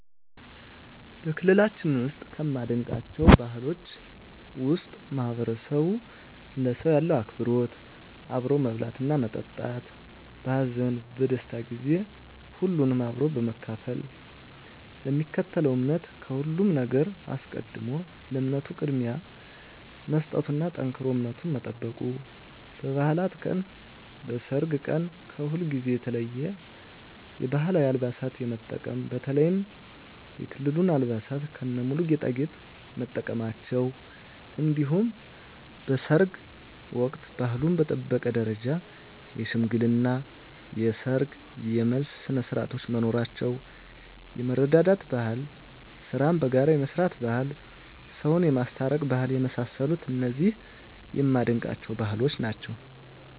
በክልላችን ውስጥ ከማደንቃቸው ባህሎች ውስጥ ማህበረሰቡ ለሰው ያለው አክብሮት አብሮ መብላትና መጠጣት በሀዘን በደስታ ጊዜ ሁሉንም አብሮ በመካፈል ለሚከተለው እምነት ከሁሉም ነገር አስቀድሞ ለእምነቱ ቅድሚያ መስጠቱና ጠንክሮ እምነቱን መጠበቁ በባዕላት ቀን በሰርግ ቀን ከሁልጊዜው የተለየ የባህላዊ አልባሳትን የመጠቀም በተለይም የክልሉን አልባሳት ከነሙሉ ጌጣጌጥ መጠቀማቸው እንዲሁም በሰርግ ወቅት ባህሉን በጠበቀ ደረጃ የሽምግልና የሰርግ የመልስ ስነስርዓቶች መኖራቸው የመረዳዳት ባህል ስራን በጋራ የመስራት ባህል ሰውን የማስታረቅ ባህል የመሳሰሉት እነዚህ የማደንቃቸው ባህሎች ናቸዉ።